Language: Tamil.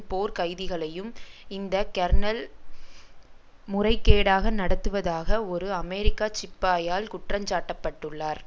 போர்க் கைதிகளையும் இந்த கெர்னல் முறைகேடாக நடத்துவதாக ஒரு அமெரிக்க சிப்பாயால் குற்றஞ்சாட்டப்பட்டுள்ளார்